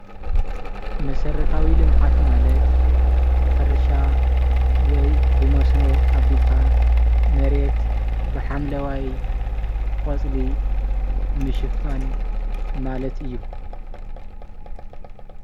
መሰረታዊ ልምዓት ማለት ብሕርሻ ወይ ብመስኖ አቢልካ መሬት ብሓምለዋይ ቆፅሊ ምሽፋን ማለት እዩ።